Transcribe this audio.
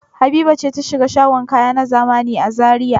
Habiba ce ta shiga shagon kaya na zamani a Zariya?